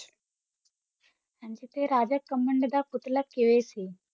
ਅੰਤ ਤੇ ਰਾਜਾ ਘਮੰਡ ਦਾ ਪੁਤਲਾ ਕੇਵੇਂ ਸੀ